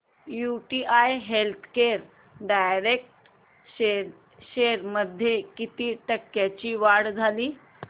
UTI healthcare direct shares मध्ये किती टक्क्यांची वाढ झाली